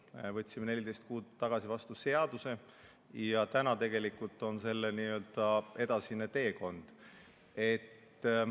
Me võtsime 14 kuud tagasi vastu seaduse ja täna tegelikult on selle n-ö edasine teekond.